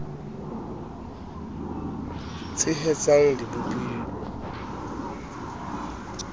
tshehetsan g di bopil we